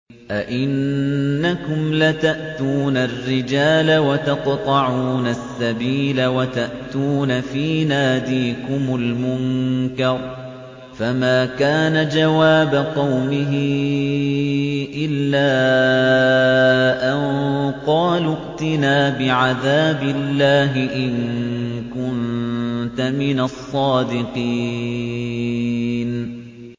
أَئِنَّكُمْ لَتَأْتُونَ الرِّجَالَ وَتَقْطَعُونَ السَّبِيلَ وَتَأْتُونَ فِي نَادِيكُمُ الْمُنكَرَ ۖ فَمَا كَانَ جَوَابَ قَوْمِهِ إِلَّا أَن قَالُوا ائْتِنَا بِعَذَابِ اللَّهِ إِن كُنتَ مِنَ الصَّادِقِينَ